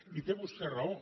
i té vostè raó